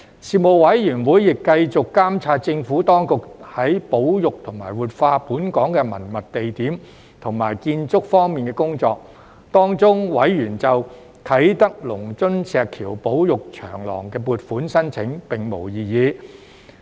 事務委員會亦繼續監察政府當局在保育和活化本港的文物地點和建築方面的工作，當中委員就啟德龍津石橋保育長廊的撥款申請並無異議。